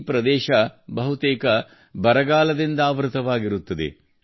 ಈ ಪ್ರದೇಶವು ಬಹುತೇಕ ಬರಗಾಲದಿಂದಾವೃತವಾಗಿರುತ್ತದೆ